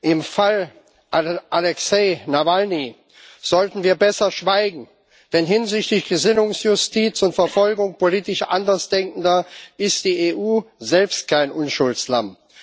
Im Fall Alexei Nawalny sollten wir besser schweigen, denn hinsichtlich Gesinnungsjustiz und Verfolgung politisch Andersdenkender ist die EU selbst kein Unschuldslamm.